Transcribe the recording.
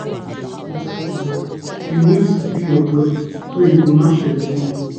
you sabi say to record your cycle well you need sabi your body so e go match your belief